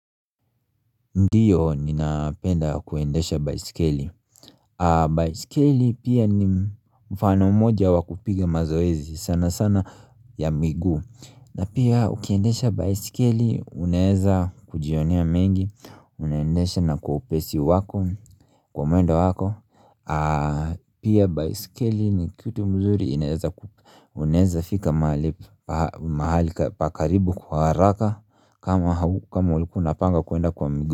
Ndiyo ninapenda kuendesha baiskeli baiskeli pia ni mfano moja wa kupiga mazoezi sana sana ya miguu na pia ukiendesha baiskeli unaeza kujionia mengi Unaendesha na kwa upesi wako kwa mwendo wako Pia baiskeli ni kitu mzuri unaeza fika mahali pakaribu kwa haraka kama ulikuwa unapanga kuenda kwa migu.